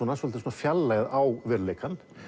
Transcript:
fjarlægð á veruleikann